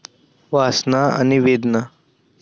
वासना आणि वेदना